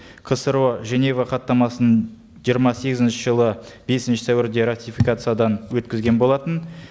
қсро женева хаттамасын жиырма сегізінші жылы бесінші сәуірде ратификациядан өткізген болатын